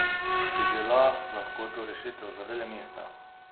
Bi bila lahko to rešitev za velemesta?